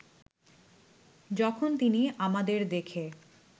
যখন তিনি আমাদের দেখে